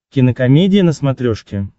кинокомедия на смотрешке